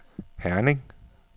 Herning